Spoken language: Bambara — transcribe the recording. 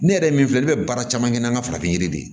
Ne yɛrɛ ye min fɔ ne bɛ baara caman kɛ n'an ka farafin yiri de ye